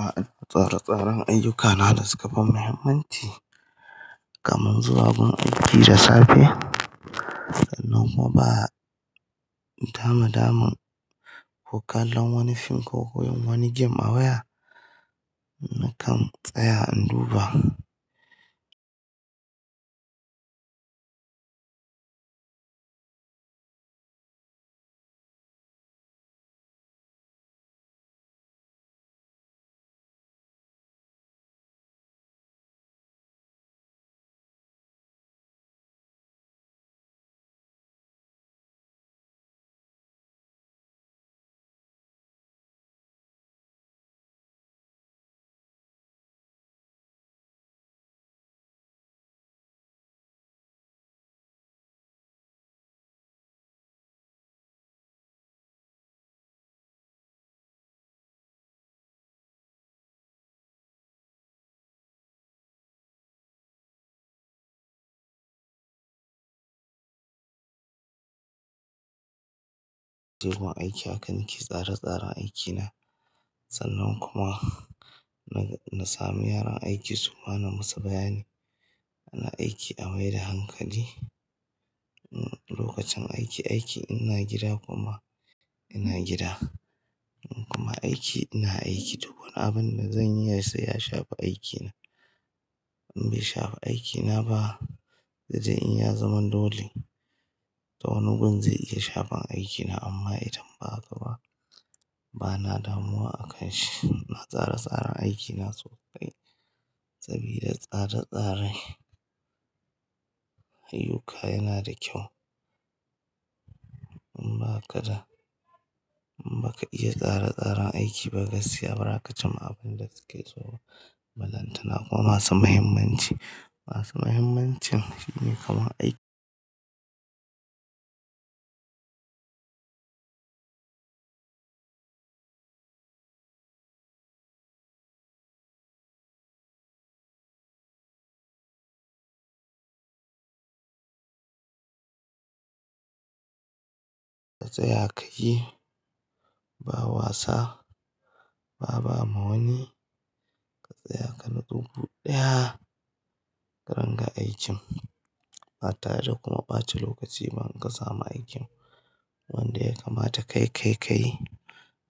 A'a, tsare-tsaren ayyuka na da suka fi muhimmanci kamar zuwa gun aiki da safe, sannan kuma ba damadamun ku kalla wani fim ko koyi wani game awaya nakan tsaya in duba. Tegun aiki akan ki yi tsare-tsaren aikina, sannan kuma na sami yaran aiki suma musu bayani ana aiki a mai da hankali. Lokacin aiki, aiki ina gida kuma ina gida kuma aiki ina aiki duk wani abin da zan iya sai ya shafi aikina. In bai shafa aikina ba, dai dai in ya zama dole, ta wani gun zai iya shafa aikina amma idan ba haka ba, bana damuwa akan shi. Na tsare-tsaren aikina sosai sabida tsare-tsare ayyuka yana da kyau. In ba kada, in ba ka iya tsare-tsaren aiki ba gaskiya bara ka cimma abin da suke so. Balantana kuma masu mahimmanci, masu mahimmancin shine kamar aiki. Ka tsaya ka yi, ba wasa, ba ba ma wani ka tsaya ka natsu guday, ka ringa aikin. Ba tare da kuma ɓace lokaci ba in ka samu aikin. Wanda ya kamata kai kayi kai,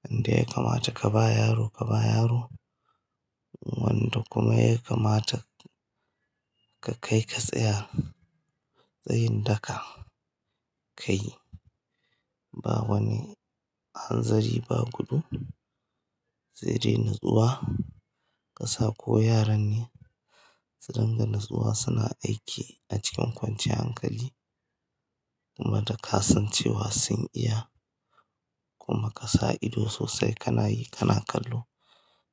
wanda ya kamata ka ba yaro ka ba yaro, wanda kuma ya kamata ka kai ka tsaya tsayin daka ka yi. Ba wani hanzari ba gudu, sai dai natsuwa. Kasa ko yaran ne su ringa natsuwa suna aiki a cikin kwanciyar hankali kuma da kasancewa sun iya kuma ka sa ido sosai kana yi kana kallo.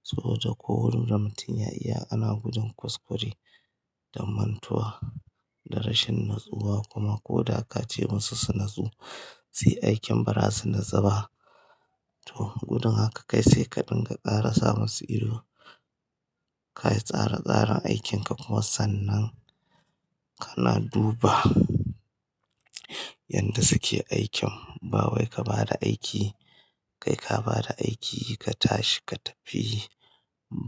Saboda ko wurin da mutum ya iya ana gudun kuskure dan mantuwa da rashin natsuwa kuma ko da ka ce musu su natsu sai aikin ba za su natsu ba. To gudun haka ka kai sai ka dinga tsara sa masu ido, ka yi tsare-tsaren aikinka kuma sannan kana duba yadda suke aikin. Ba wai ka bada aiki, kai ka bada aiki ka tashi ka tafi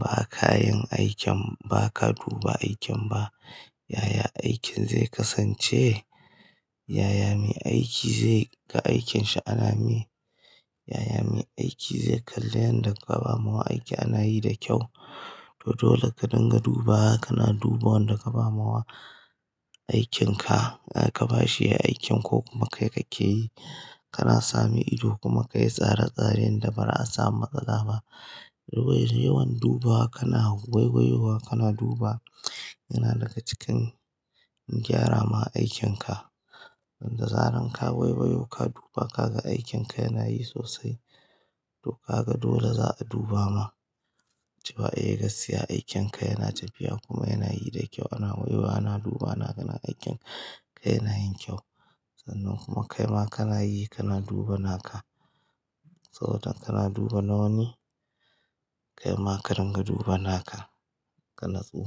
ba kayan aikin ba ka duba aikin ba. Yaya aikin zai kasance? Yaya mai aiki zai ga aikinshi anama yi? Yaya mai aiki zai kalla yanda ka ba mawa aiki ana yi da kyau? To dole ka dinga duba, kana duba wanda ka ba mawa aikinka, ka ba shi aikin ko kuma kai kake yi. Kana sami ido kuma ka yi tsare-tsaren da ba ra a samu matsala ba. Yawan duba kana gwai-gwaiwa kana duba yana daga cikin gyara ma aikinka. Yadda zaran ka wai-waiwo ka duba kaga aikinka yana yi sosai to ka ga dole za'a duba ma. Cewa eh gaskiya aikinka yana tafiya kuma yana yi da kyau, ana waiwayowa ana duba ana ganin aikin ka yana yin kyau. Sannan kuma kai ma kana yi kana duba naka. Saboda kana duba na wani, kai ma ka dinga duba naka ka natsu.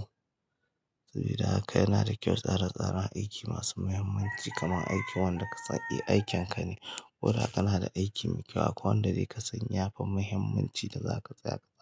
Sabida haka yana da kyau tsare-tsaren aiki masu muhimmanci kamar aiki wanda ka sani aikinka ne. Ko da kana da aiki mai kyau akwai wanda dai ka sanya fi muhimmanci da za ka tsaya ka tsaya.